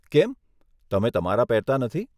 કેમ તમે તમારા પહેરતા નથી?